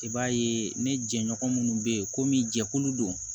I b'a ye ne jɛɲɔgɔn minnu bɛ yen komi jɛkulu don